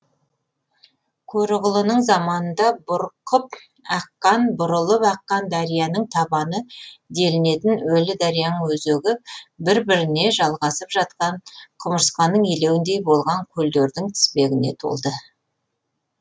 көроғлының заманында бұрқып аққан бұрылып аққан дарияның табаны делінетін өлі дарияның өзегі бір біріне жалғасып жатқан құмырысқаның илеуіндей болған көлдердің тізбегіне толы